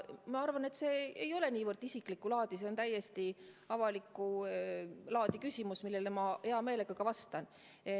Ma arvan, et see ei ole kuigi isiklikku laadi, see on täiesti avalikku laadi küsimus, millele ma hea meelega ka vastan.